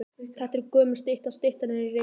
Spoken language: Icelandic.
Þetta er gömul stytta. Styttan er í Reykjavík.